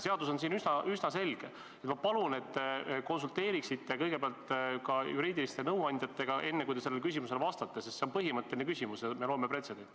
Seadus on siin üsna selge ja ma palun, et te konsulteeriksite kõigepealt ka juriidiliste nõuandjatega, enne kui te sellele küsimusele vastate, sest see on põhimõtteline küsimus ja me loome pretsedenti.